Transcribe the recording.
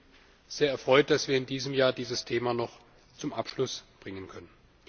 Ich bin sehr erfreut, dass wir in diesem Jahr dieses Thema noch zum Abschluss bringen können.